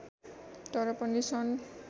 तर पनि सन्